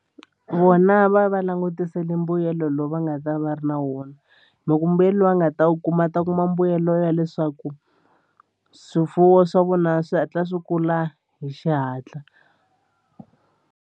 Vona va va langutisele mbuyelo lowu va nga ta va ri na wona loko mbuyelo loyi a nga ta wu kuma ta kuma mbuyelo ya leswaku swifuwo swa vona swi hatla swi kula hi xihatla.